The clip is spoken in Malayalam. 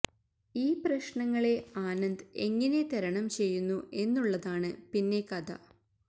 ഈ പ്രശ്നങ്ങളെ ആനന്ദ് എങ്ങിനെ തരണം ചെയ്യുന്നു എന്നുള്ളതാണ് പിന്നെ കഥ